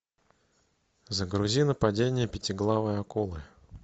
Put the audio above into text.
загрузи нападение пятиглавой акулы